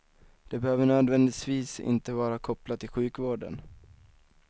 Det behöver nödvändigtvis inte vara kopplat till sjukvården.